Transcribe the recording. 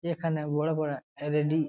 এখানে বড়ো পারা এল. ই. ডি. ।